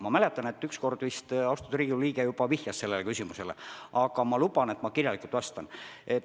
Ma mäletan, et korra austatud Riigikogu liige juba esitas selle küsimuse, nüüd ma luban, et ma vastan kirjalikult.